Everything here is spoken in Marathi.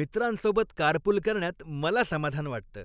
मित्रांसोबत कारपूल करण्यात मला समाधान वाटतं.